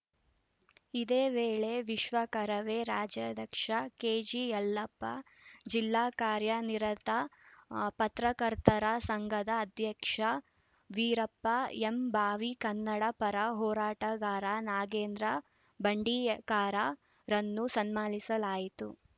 ಇದೇ ವೇಳೆ ವಿಶ್ವ ಕರವೇ ರಾಜ್ಯಾಧ್ಯಕ್ಷ ಕೆಜಿಯಲ್ಲಪ್ಪ ಜಿಲ್ಲಾ ಕಾರ್ಯ ನಿರತ ಪತ್ರಕರ್ತರ ಸಂಘದ ಅಧ್ಯಕ್ಷ ವೀರಪ್ಪ ಎಂಭಾವಿ ಕನ್ನಡ ಪರ ಹೋರಾಟಗಾರ ನಾಗೇಂದ್ರ ಬಂಡೀಕಾರ ರನ್ನು ಸನ್ಮಾನಿಸಲಾಯಿತು